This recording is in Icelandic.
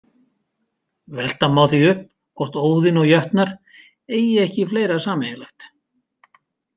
Velta má því upp hvort Óðinn og jötnar eigi ekki fleira sameiginlegt.